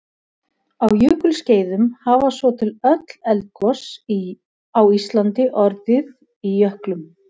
á jökulskeiðum hafa svo til öll eldgos á íslandi orðið í jöklum